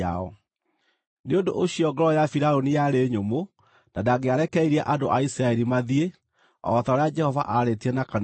Nĩ ũndũ ũcio ngoro ya Firaũni yarĩ nyũmũ na ndangĩarekereirie andũ a Isiraeli mathiĩ, o ta ũrĩa Jehova aarĩtie na kanua ka Musa.